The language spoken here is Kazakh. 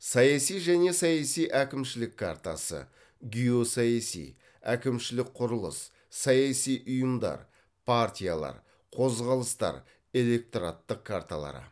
саяси және саяси әкімшілік картасы геосаяси әкімшілік құрылыс саяси ұйымдар партиялар қозғалыстар электораттық карталары